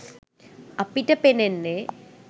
අපිට පෙනෙන්නෙ